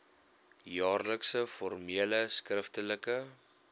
jaarlikse formele skriftelike